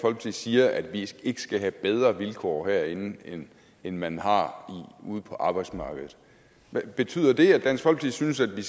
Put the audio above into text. siger at vi ikke skal have bedre vilkår herinde end end man har ude på arbejdsmarkedet betyder det at dansk folkeparti synes at vi